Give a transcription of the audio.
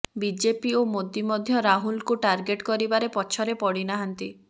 BJP ଓ ମୋଦି ମଧ୍ୟ ରାହୁଲଙ୍କୁ ଟାର୍ଗେଟ କରିବାରେ ପଛରେ ପଡିନାହାନ୍ତି